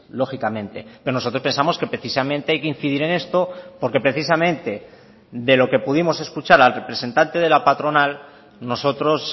lógicamente pero nosotros pensamos que precisamente hay que incidir en esto porque precisamente de lo que pudimos escuchar al representante de la patronal nosotros